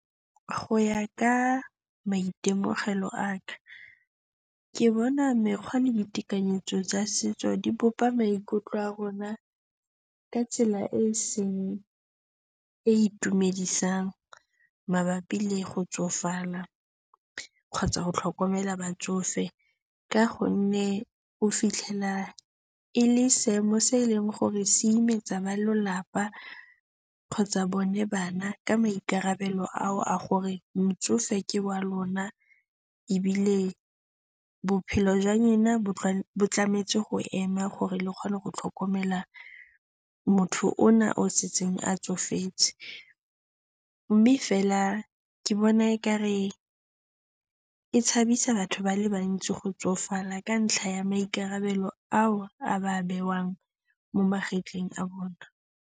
Go ya ka maitemogelo a ka, ke bona mekgwa le ditekanyetso tsa setso di bopa maikutlo a rona ka tsela e e seng e e itumedisang mabapi le go tsofala kgotsa go tlhokomela batsofe ka gonne o fitlhela e le seemo se eleng gore se imetsa ba lelapa kgotsa bone bana ka maikarabelo ao a gore motsofe ke wa lona ebile bophelo jwa lona bo tshwanetse go ema gore le kgone go tlhokomela motho ona yo a setseng a tsofetse. Mme fela ke bona ekare e tshabisa batho ba le bantsi go tsofala ka ntlha ya maikarabelo ao a ba a bewang mo magetleng a bone.